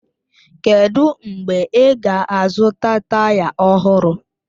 Kedụ mgbe ị ga-azụta taya ọhụrụ?